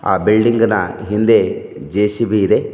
ಆ ಬಿಲ್ಡಿಂಗ್ ನ ಹಿಂದೆ ಜೆ_ಸಿ_ಬಿ ಇದೆ.